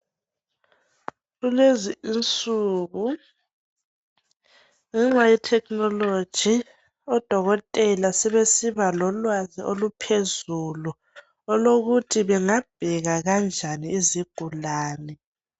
kulezi insuku ngenxa ye technology odokotela sebesiba lolwazi oluphezulu lokuthi bengabheka kanjani izigulane